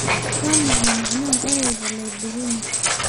Waa maxay macnaha erayga labyrinth?